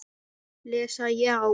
Lesa já?